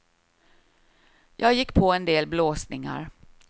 Jag gick på en del blåsningar.